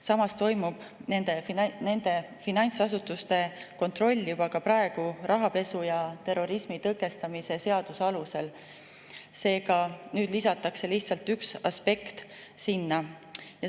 Samas toimub nende finantsasutuste kontroll juba praegu, rahapesu ja terrorismi tõkestamise seaduse alusel, nüüd lisatakse sinna lihtsalt üks aspekt.